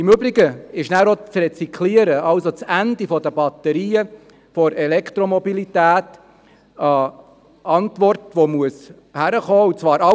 Im Übrigen ist auch das Recycling, also das Ende der Batterien der Elektromobilität, eine Antwort, welche gegeben werden muss.